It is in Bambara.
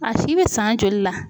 A si bɛ san joli la.